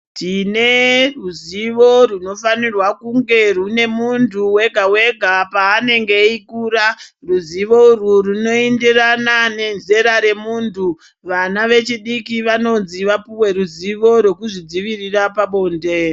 Tine ruzivo runofanirwe kuti rwunge rwune muntu wega wega paanenge eikura, rwuzivo urwu rwunoenderana nezera remuntu vana vechidiki vanonzi vapuwe ruzivo rwekuzvidzivirira pabonde.